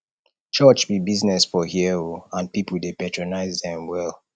church be business for here o and people dey patronize dem well